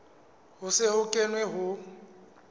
ho se ho kenwe ho